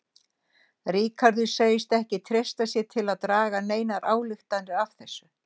Ríkarður segist ekki treysta sér til að draga neinar ályktanir af þessu